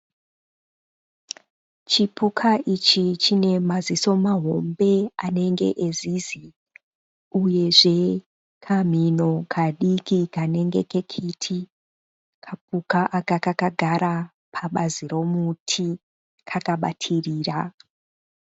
Chipuka ichi chine maziso mahombe anenge ezizi uyezve kamhino kadiki kanenge kekiti. Kapuka aka kakagara pabazi romuti kakabatirira.